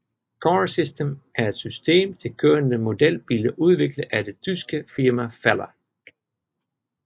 Car System er et system til kørende modelbiler udviklet af det tyske firma Faller